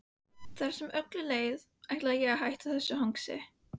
Hvað sem öllu leið, ætlaði ég að hætta þessu hangsi.